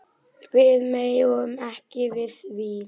Við megum ekki við því.